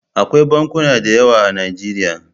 Akwai bankuna da yawa a Najeriya.